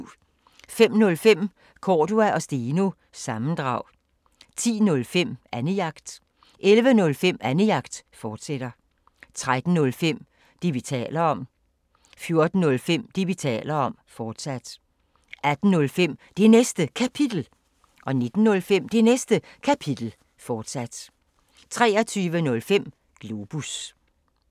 05:05: Cordua & Steno – sammendrag 10:05: Annejagt 11:05: Annejagt, fortsat 13:05: Det, vi taler om 14:05: Det, vi taler om, fortsat 18:05: Det Næste Kapitel 19:05: Det Næste Kapitel, fortsat 23:05: Globus